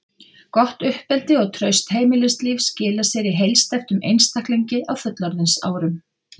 Gott uppeldi og traust heimilislíf skila sér í heilsteyptum einstaklingi á fullorðinsárum.